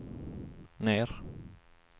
ner